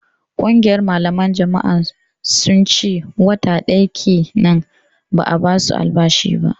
Ƙungiyar malaman jami'an sun ce wata ɗaya kenan ba a ba su albashi ba